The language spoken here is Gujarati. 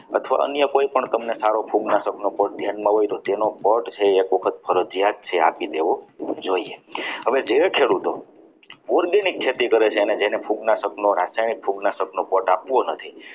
અથવા અન્ય કોઈ તમને કોઈ સારો ફૂગનાશક ધ્યાનમાં હોય તેનો પટ છે એ ફરજિયાત છે આપી દેવો જોઈએ હવે જે ખેડૂતો organic ખેતી કરે છે તેના ફૂગના રાસાયણિક ફૂગના સપનો કોટ આપવો નથી.